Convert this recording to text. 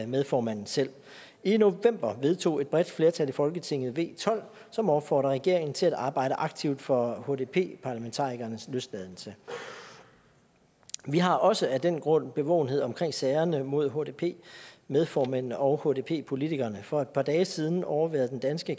medformanden selv i november vedtog et bredt flertal i folketinget v tolv som opfordrer regeringen til at arbejde aktivt for hdp parlamentarikernes løsladelse vi har også af den grund bevågenhed omkring sagerne mod hdp medformændene og hdp politikerne for et par dage siden overværede den danske